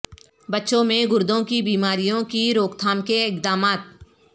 بچوں میں گردوں کی بیماریوں کی روک تھام کے اقدامات